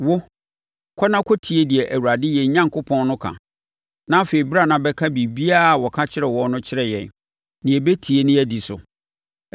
Wo, kɔ na kɔtie deɛ Awurade yɛn Onyankopɔn no ka. Na afei, bra na bɛka biribiara a ɔka kyerɛɛ wo no kyerɛ yɛn, na yɛbɛtie na yɛadi so.”